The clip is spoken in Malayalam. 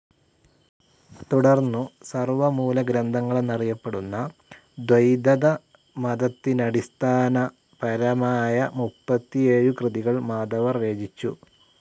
തുടർന്നു സർവമൂലഗ്രന്ഥങ്ങളെന്നറിയപ്പെടുന്ന ദ്വൈതതമതത്തിനടിസ്ഥാന പരമായമുപ്പത്തിയേഴു കൃതികൾ മാധവർ രചിച്ചു.